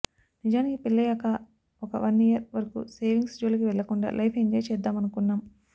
నిజానికి పెళ్లయ్యాక ఒక వన్ ఇయర్ వరకు సేవింగ్స్ జోలికి వెళ్లకుండా లైఫ్ ఎంజాయ్ చేద్దామనుకున్నాం